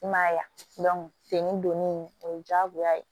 I m'a ye ya fini donni o ye jagoya ye